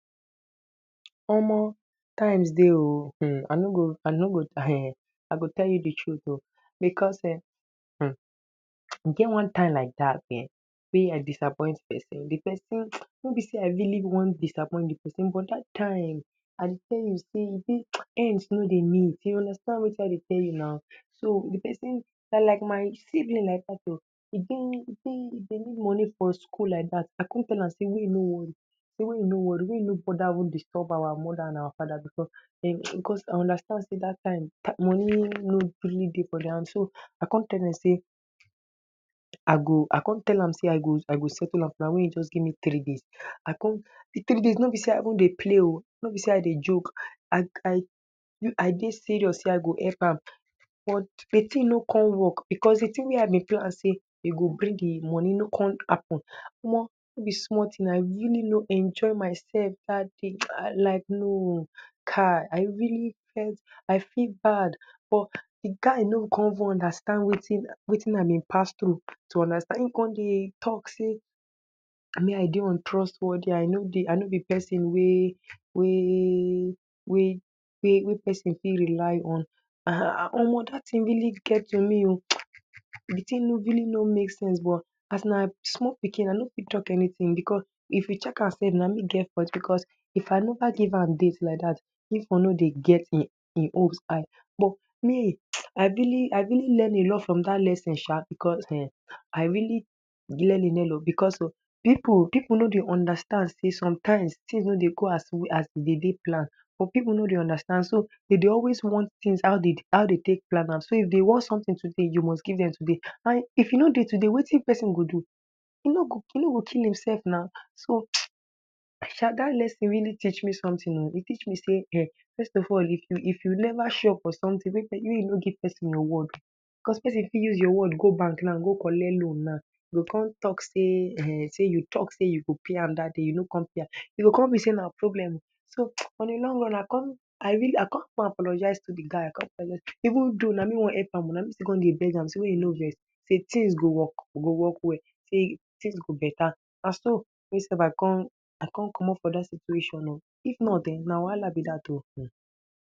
Omo times dey oh um I no go I no go (um)I go tell you di truth oh because um hmm, e get one time like dat um we I disappoint pesin, di pesin no be sey I rily wan disappoint di pesin but dat time I dey tell you sey um ends no dey meet you understand wetin I dey tell you na So di pesin na like my senior like dat oh, e de e de e de need moni for school like dat, I con tell am sey mey e no wori, mey e no wori mey e no even boda disturb our moda and fada because um I understand sey dat time moni no rily dey for dia hand so I com tell am sey I go I come tell am sey I go settle am make e just gimme three days I come di three days no be even sey play oh, no be sey I dey joke, I I I dey serious sey I go help am but di tin no come work because di tin wey I dy plan sey e go bring di moni no come hapun omo no be small tin I rily no enjoy myself dat day Ha like nooo kai I really fe um I feel bad buh di guy no come even understand wetin um I bin pass through to understand im come dey talk sey me I dey untrust worthy I no dey I no be pesin wey wey wey pesin fit rely on um omo dat tin rily get to me um di tin no rily no make sense buh as na small pikin I no fit talk anytin because if you check am self na me get fault because if I neva give am date like dat dis one no dey get im um im hope high But me (hiss) I rily I rily learn a lot from dat lesion sha because um I rily learn a learn oh because pipu pipu no dey understand sey some times tins no dey go as as we dey plan some pipu no dey understand so dey de always wan tin how de um de take plan am so if de wan somtin today you must give dem today and if e no dey today wetin pesin go do E no go, e no go kill im self na, so (hiss) sha dat lesson rily teach me sometin oh, e teach me sey first of all if if you neva sure of sometin um mey you no give pesin your word because pesin fit use your word go bank go collect loan now, dem go con tok sey um you tok sey you go pay am dat day no com pay am E go com mean sey na problem so (hiss) on di long run I com in rily I com go apologise to di guy I com um even though na me wan help am na me still com dey beg am sey mey e no vex, sey tin go work, e go work well, sey tins go beta Naso me self I com I com comot for dat situation oh, if not en na wahala be dat oh um